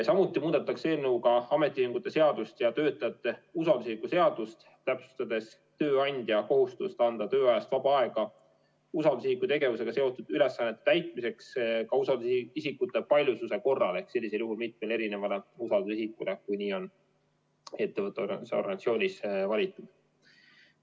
Samuti muudetakse eelnõuga ametiühingute seadust ja töötajate usaldusisiku seadust, täpsustades tööandja kohustust anda tööajast vaba aega usaldusisiku tegevusega seotud ülesannete täitmiseks ka usaldusisikute paljususe korral, ehk sellisel juhul mitmele erinevale usaldusisikule, kui nii on ettevõttes või organisatsioonis valitud.